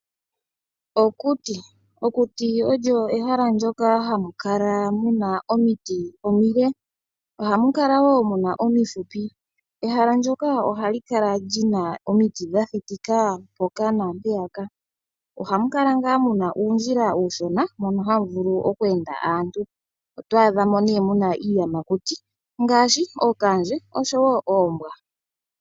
Okuti, okuti olyo ehala ndyoka hamu kala omiti omile ohamu kala wo muna omifupi. Ehala ndyoka ohali kala wo lyina omiti dha thitika mpoka naampeya ka. Ohamu kala ngaa muna uundjila uushona mono hamu vulu okweenda aantu. Oto adha mo nee muna iiyamakuti ngaashi ookanandje oshowo oombwa.